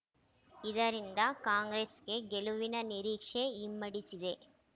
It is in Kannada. ಇದರಿಂದ ಕಾಂಗ್ರೆಸ್‌ಗೆ ಗೆಲುವಿನ ನಿರೀಕ್ಷೆ ಇಮ್ಮಡಿಸಿದೆ